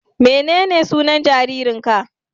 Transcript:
Menene sunan jaririnka?